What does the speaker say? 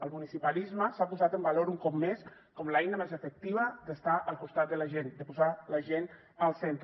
el municipalisme s’ha posat en valor un cop més com l’eina més efectiva d’estar al costat de la gent de posar la gent al centre